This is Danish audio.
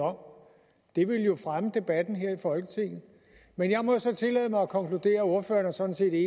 om det ville jo fremme debatten her i folketinget men jeg må så tillade mig at konkludere at ordføreren sådan set er